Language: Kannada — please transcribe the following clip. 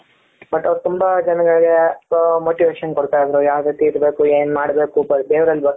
but ಅವರು ತುಂಬಾ ಜನಗಳಿಗೆ ಹ Motivation ಕೊಡ್ತಾ ಇದ್ರು ಯಾವ್ ರೀತಿ ಇರ್ಬೇಕು ಏನ್ ಮಾಡಬೇಕು ದೇವರಲ್ಲಿ ಭಕ್ತಿ